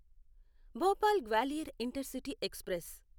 Bhopal Gwalior intercity express